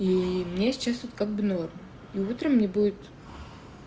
и мне сейчас вот как бы норм и утром мне будет